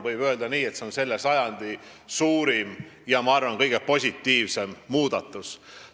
Võib öelda nii, et see on selle sajandi suurim, ja ma arvan, et kõige positiivsem muudatus.